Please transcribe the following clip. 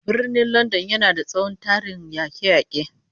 Birnin Landan yana da tsohon tarihin yake-yake